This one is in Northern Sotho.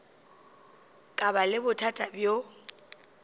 ka ba le bothata bjo